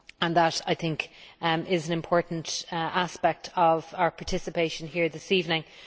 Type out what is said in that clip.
That, I think, is an important aspect of our participation here this evening.